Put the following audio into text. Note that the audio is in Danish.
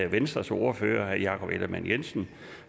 venstres ordfører herre jakob ellemann jensen